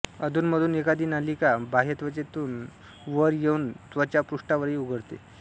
अधूनमधून एखादी नलिका बाह्यत्वचेतून वर येऊन त्वचापृष्ठावरही उघडते